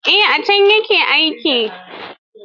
Eh, a can ya ke aiki.